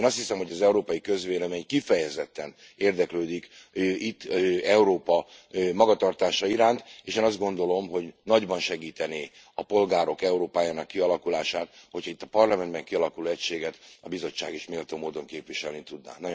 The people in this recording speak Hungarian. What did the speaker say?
Én azt hiszem, hogy az európai közvélemény kifejezetten érdeklődik itt Európa magatartása iránt, és én azt gondolom, hogy nagyban segítené a polgárok Európájának kialakulását, hogy ha itt a Parlamentben kialakuló egységet a Bizottság is méltó módon képviselni tudná.